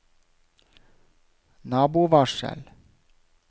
nabovarsel